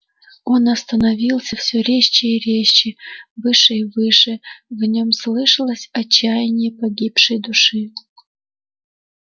он становился всё резче и резче выше и выше в нём слышалось отчаяние погибшей души